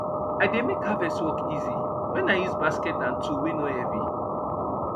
i dey make harvest work easy wen i use basket and tool wey nor heavy